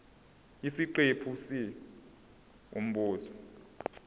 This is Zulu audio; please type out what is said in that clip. isiqephu c umbuzo